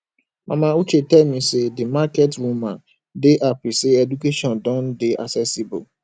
mama uche tell me say the market women dey happy say education don dey accessible